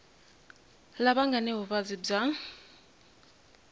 lava nga ni vuvabyi bya